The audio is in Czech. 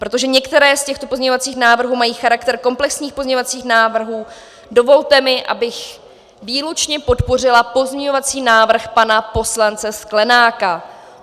Protože některé z těchto pozměňovacích návrhů mají charakter komplexních pozměňovacích návrhů, dovolte mi, abych výlučně podpořila pozměňovací návrh pana poslance Sklenáka.